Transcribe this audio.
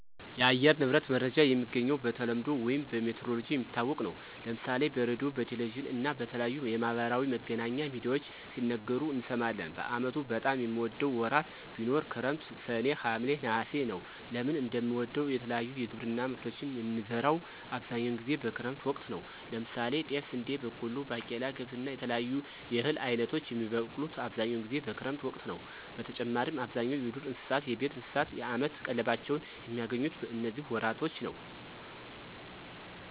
የአየር ንብረት መረጃ የሚገኘው በተለምዶ ውይም በሜትሮሎጅ የሚታወቅ ነው። ለምሳሌ በሬድዮ፣ በቴሌቪዥን እና በተለያዩ የማህበራዊ መገናኛ ሚድያዎች ሲነገሩ እንሰማለን። በአመቱ በጣም የምወደው ወራት ቢኖር ክረምት ሰኔ፣ ሀምሌ፣ ነሐሴ ነወ። ለምን እንደምወደው የተለያዩ የግብርና ምርቶችን የምንዘራው አብዛኛውን ጊዜ በክረምት ወቅት ነው። ለምሳሌ ጤፍ፣ ስንዴ፣ በቆሎ፣ ባቄላ፣ ገብስ እና የተለያዩ የእህል አይነቶች የሚበቅሉት አብዛኛውን ጊዜ በክረምት ወቅት ነዉ። በተጨማሪም አብዛኛው የዱር እንስሳት፣ የቤት እንስሳት የአመት ቀለባቸውን የሚያገኙት በነዚህ ወራቶች ነው።